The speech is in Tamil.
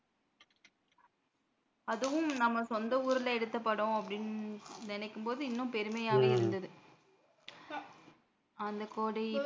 அதுவும் நம்ம சொந்த ஊர்ல எடுத்த படம் அப்படின்னு நினைக்கும் போது இன்னமும் பெருமையா இருந்தது அந்த கொடை